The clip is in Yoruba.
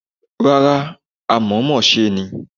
Rárá, àmọ̀ọ́mọ̀ ṣe ni.